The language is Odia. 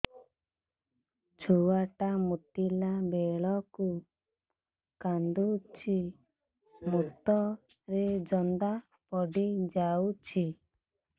ଛୁଆ ଟା ମୁତିଲା ବେଳକୁ କାନ୍ଦୁଚି ମୁତ ରେ ଜନ୍ଦା ପଡ଼ି ଯାଉଛି